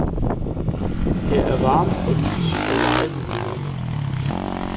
Her er varme og lys og legemuligheder.